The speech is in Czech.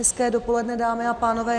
Hezké dopoledne, dámy a pánové.